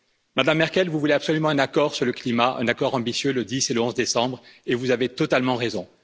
Madame Merkel, vous voulez absolument un accord sur le climat, un accord ambitieux le 10 et le 11 décembre, et vous avez totalement raison.